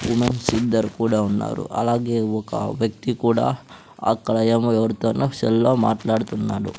Women's ఇద్దరు కూడా ఉన్నారు అలాగే ఒక వ్యక్తి కూడా అక్కడ ఏమో ఎవరితోనో సెల్లులో మాట్లాడుతున్నాడు.